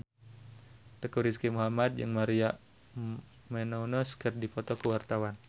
Teuku Rizky Muhammad jeung Maria Menounos keur dipoto ku wartawan